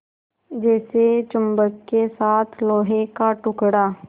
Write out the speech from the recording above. जैसे चुम्बक के साथ लोहे का टुकड़ा